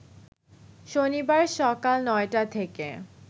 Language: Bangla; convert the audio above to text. শনিবার সকাল ৯টা থেকে